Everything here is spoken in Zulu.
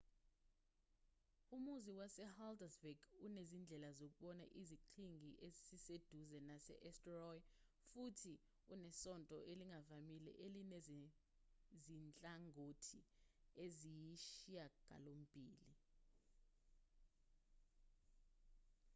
umuzi wasehaldarsvík unezindlela zokubona isiqhingi esiseduze sase-eysturoy futhi unesonto elingavamile elinezinhlangothi eziyisishiyagalombili